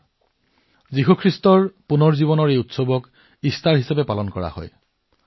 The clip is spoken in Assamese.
ইষ্টাৰ উৎসৱটো যীশু খ্ৰীষ্টৰ নৱজীৱন হিচাপে উদযাপন কৰা হয়